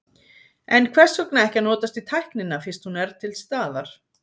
En hvers vegna ekki að notast við tæknina fyrst hún er til staðar?